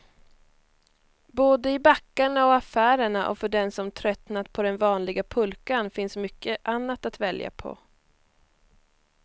Både i backarna och affärerna, och för den som tröttnat på den vanliga pulkan finns mycket annat att välja på.